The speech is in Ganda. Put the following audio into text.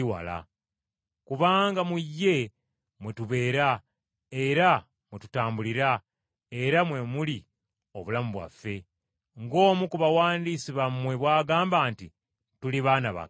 Kubanga mu ye mwe tubeera, era mwe tutambulira, era mwe muli obulamu bwaffe. Ng’omu ku bawandiisi bammwe bw’agamba nti, ‘Tuli baana ba Katonda.’